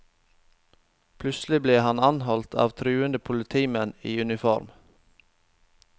Plutselig ble han anholdt av truende politimenn i uniform.